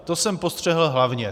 To jsem postřehl hlavně.